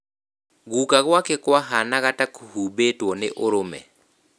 Gũka gwake kwahaanaga ta kũhumbĩtwo nĩ ũrũme